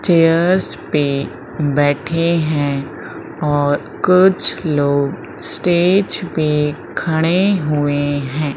Chairs पे बैठे हैं और कुछ लोग स्टेज पे खड़े हुए हैं।